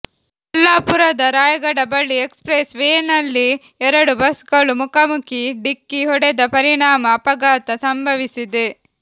ಕೊಲ್ಲಾಪುರದ ರಾಯಗಢ ಬಳಿ express ವೇನಲ್ಲಿ ಎರಡು ಬಸ್ ಗಳು ಮುಖಾಮುಖಿ ಢಿಕ್ಕಿ ಹೊಡೆದ ಪರಿಣಾಮ ಅಪಘಾತ ಸಂಭವಿಸಿದೆ